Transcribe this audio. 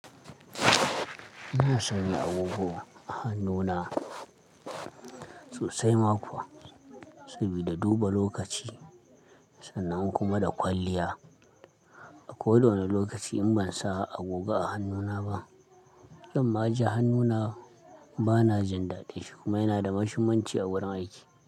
Ina sanya agogo a hannuna sosai ma kuwa, sabida duba lokaci sannan kuma da kwalliya. A koda wane lokaci in ban sa agogo a hannuna ba, zan ma ji hannuna bana jin daɗin shi kuma yana da mashunmanci a wurin aiki.